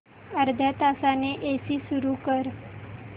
अर्ध्या तासाने एसी सुरू कर